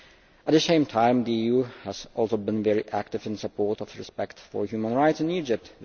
At the same time the EU has also been very active in support of respect for human rights in Egypt.